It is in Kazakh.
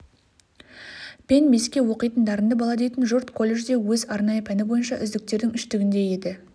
пен беске оқитын дарынды бала дейтін жұрт колледжде өз арнайы пәні бойынша үздіктердің үштігінде еді